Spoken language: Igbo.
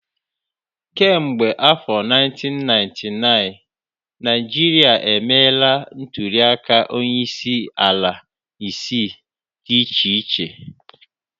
Kemgbe afọ 1999, Naịjirịa emeela ntuliaka onyeisiala isii dị iche iche